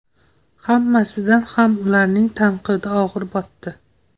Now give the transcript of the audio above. Hammasidan ham ularning tanqidi og‘ir botdi.